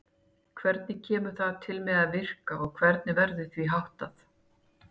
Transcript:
Hvernig kemur það til með að virka og hvernig verður því háttað?